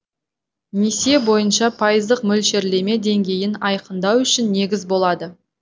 несие бойынша пайыздық мөлшерлеме деңгейін айқындау үшін негіз болады